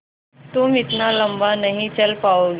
तुम इतना लम्बा नहीं चल पाओगे